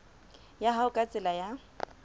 ya hao ka tsela ya